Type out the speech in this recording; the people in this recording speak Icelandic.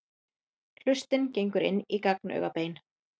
Hlustin gengur inn í gagnaugabein.